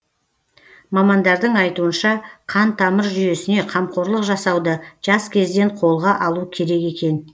мамандардың айтуынша қан тамыр жүйесіне қамқорлық жасауды жас кезден қолға алу керек екен